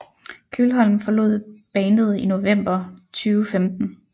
Kjølholm forlod bandet i november 2015